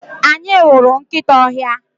Anyị hụrụ nkịta ọhịa.